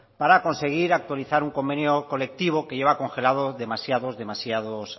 para conseguir actualizar un convenio colectivo que lleva congelado demasiados demasiados